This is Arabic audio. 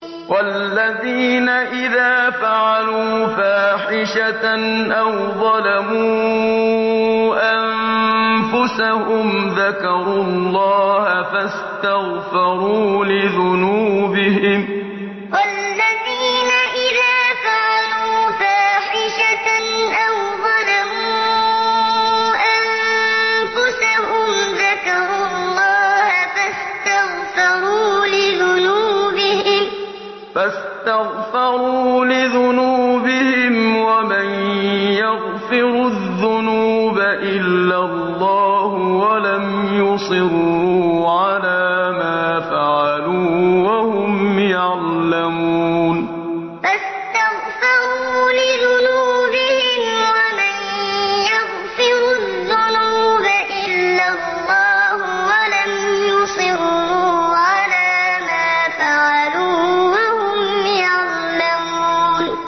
وَالَّذِينَ إِذَا فَعَلُوا فَاحِشَةً أَوْ ظَلَمُوا أَنفُسَهُمْ ذَكَرُوا اللَّهَ فَاسْتَغْفَرُوا لِذُنُوبِهِمْ وَمَن يَغْفِرُ الذُّنُوبَ إِلَّا اللَّهُ وَلَمْ يُصِرُّوا عَلَىٰ مَا فَعَلُوا وَهُمْ يَعْلَمُونَ وَالَّذِينَ إِذَا فَعَلُوا فَاحِشَةً أَوْ ظَلَمُوا أَنفُسَهُمْ ذَكَرُوا اللَّهَ فَاسْتَغْفَرُوا لِذُنُوبِهِمْ وَمَن يَغْفِرُ الذُّنُوبَ إِلَّا اللَّهُ وَلَمْ يُصِرُّوا عَلَىٰ مَا فَعَلُوا وَهُمْ يَعْلَمُونَ